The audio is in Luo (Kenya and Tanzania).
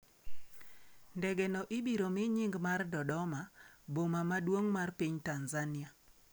Ndege no ibiro mi nying mar Dodoma, boma maduong' mar piny Tanzania.